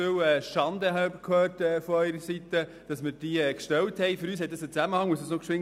3. Ich habe von Ihrer Seite viel Kritik gehört, weil wir diesen Antrag gestellt haben.